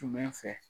Tun bɛ fɛ